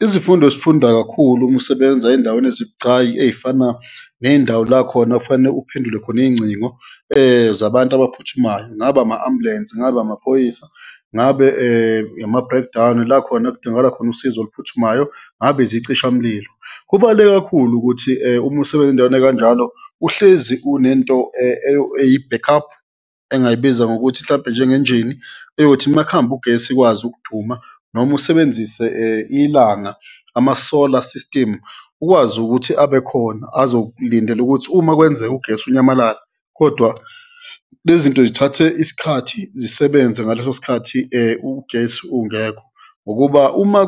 Izifundo osifunda kakhulu uma usebenza ey'ndaweni ezibucayi ey'fana ney'ndawo la khona kufanele uphendule khona iy'ngcingo zabantu abaphuthumayo, ngaba ama-ambulensi, ngaba amaphoyisa, ngabe ama-breakdown la khona ekudingakala khona usizo oluphuthumayo, ngabe izicishamlilo. Kubaluleke kakhulu ukuthi uma usebenza endaweni ekanjalo uhlezi unento eyi-backup, engingayibiza ngokuthi mhlawumbe njengenjini, eyothi makuhamba ugesi ikwazi ukuduma noma usebenzise ilanga, ama-solar system, ukwazi ukuthi abekhona azolindela ukuthi uma kwenzeka ugesi unyamalale kodwa lezi zinto zithathe isikhathi, zisebenze ngaleso sikhathi ugesi ungekho. Ngokuba uma